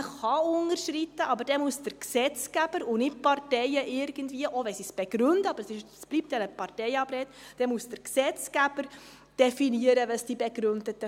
Man kann unterschreiten, aber dann muss der Gesetzgeber definieren, welches die begründeten Fälle sind, und nicht irgendwie die Parteien, auch wenn sie es begründen.